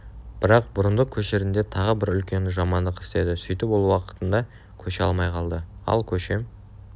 бірақ бұрындық көшерінде тағы бір үлкен жамандық істеді сөйтіп ол уақытында көше алмай қалды ал көшем